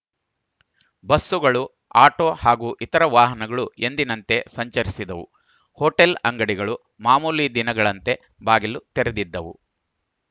ಬಸ್ಸುಗಳು ಆಟೋ ಹಾಗೂ ಇತರ ವಾಹನಗಳು ಎಂದಿನಂತೆ ಸಂಚರಿಸಿದವು ಹೋಟೆಲ್‌ ಅಂಗಡಿಗಳು ಮಾಮೂಲಿ ದಿನಗಳಂತೆ ಬಾಗಿಲು ತೆರೆದಿದ್ದವು